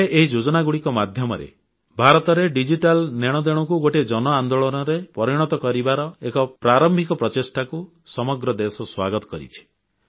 ଏବେ ଏହି ଯୋଜନାଗୁଡ଼ିକ ମାଧ୍ୟମରେ ଭାରତରେ ଡିଜିଟାଲ ନେଣଦେଣକୁ ଗୋଟିଏ ଜନ ଆନ୍ଦୋଳନରେ ପରିଣତ କରିବାର ଏକ ପ୍ରାରମ୍ଭିକ ପ୍ରଚେଷ୍ଟାକୁ ସମଗ୍ର ଦେଶ ସ୍ୱାଗତ କରିଛି